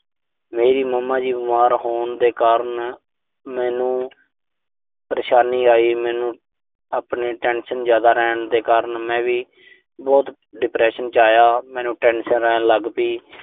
ਮੇਰੀ mama ਜੀ ਬਿਮਾਰ ਹੋਣ ਦੇ ਕਾਰਨ ਮੈਨੂੰ ਪਰੇਸ਼ਾਨੀ ਆਈ ਮੈਨੂੰ, ਆਪਣੇ tension ਜ਼ਿਆਦਾ ਰਹਿਣ ਦੇ ਕਾਰਨ ਮੈਂ ਵੀ ਬਹੁਤ depression ਚ ਆਇਆ। ਮੈਨੂੰ tension ਰਹਿਣ ਲੱਗ ਪੀ।